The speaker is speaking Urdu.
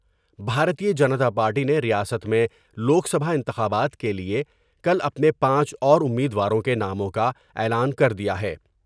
بھارتیہ جنتا پارٹی نے ریاست میں لوک سبھا انتخابات کے لئے کل اپنے پانچ اور امید واروں کے ناموں کا اعلان کر دیا ہے ۔